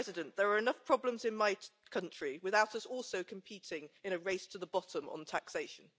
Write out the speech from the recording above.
There are enough problems in my country without us also competing in a race to the bottom on taxation.